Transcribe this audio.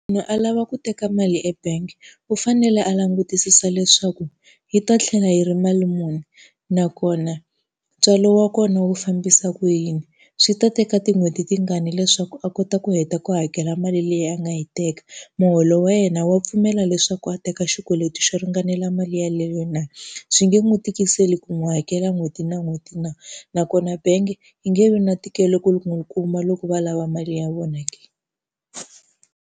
a lava ku teka mali e bank u fanele a langutisisa leswaku yi ta tlhela yi ri mali muni, nakona ntswalo wa kona wu fambisa ku yini. Swi ta teka tin'hweti tingani leswaku a kota ku heta ku hakela mali leyi a nga yi teka, muholo wa yena wa pfumela leswaku a teka xikweleti xo ringanela mali yeleyo na. Swi nge n'wi tikiseli ku n'wi hakela n'hweti na n'hweti na, nakona bank yi nge vi na ntikelo ku n'wi kuma loko va lava mali ya vona ke.